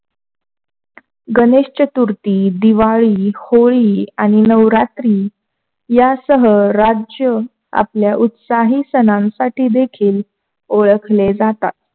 गणेश चतुर्थी, दिवाळी, होळी आणि नवरात्री या सर्व राज्य आपल्या उत्साही सणासाठी देखिल ओळखले जातात.